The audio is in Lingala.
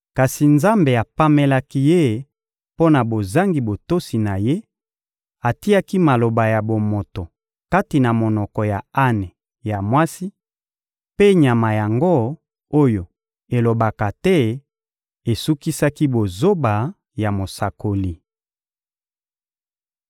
kasi Nzambe apamelaki ye mpo na bozangi botosi na ye, atiaki maloba ya bomoto kati na monoko ya ane ya mwasi, mpe nyama yango oyo elobaka te esukisaki bozoba ya mosakoli.